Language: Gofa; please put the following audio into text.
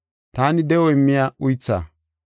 Taani de7o immiya uythaa.